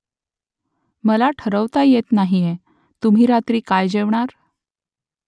मला ठरवता येत नाहीये तुम्ही रात्री काय जेवणार ?